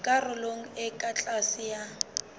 karolong e ka tlase ya